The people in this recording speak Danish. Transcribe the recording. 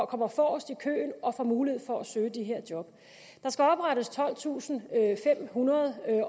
kommer forrest i køen og får mulighed for at søge de her job der skal oprettes tolvtusinde